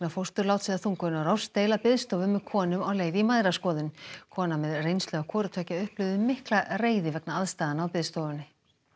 fósturláts eða þungunarrofs deila biðstofu með konum á leið í mæðraskoðun kona með reynslu af hvoru tveggja upplifði mikla reiði vegna aðstæðna á biðstofunni